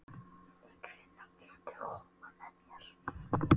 Ingifinna, viltu hoppa með mér?